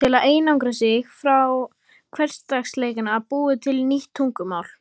Til að einangra sig frá hversdagsleikanum búið til nýtt tungumál